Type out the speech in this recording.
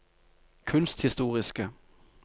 kunsthistoriske